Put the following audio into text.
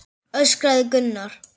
öskraði Gunnar.